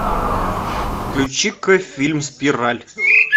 включи ка фильм спираль